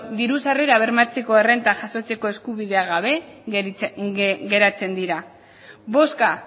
diru sarrera bermatzeko errenta jasotzeko eskubiderik gabe geratzen dira bozka